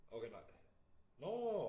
Okay nej nårh!